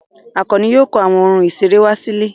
Àkànní yóò kó àwọn ohun ìṣeré wá sílé.